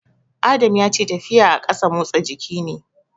Adam ya ce tafiya a ƙasa motsa jiki ne.